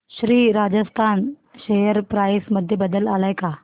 Shri Rajasthan share price मध्ये बदल आलाय का